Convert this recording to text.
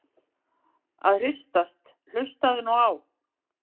að hristast- hlustaðu nú á!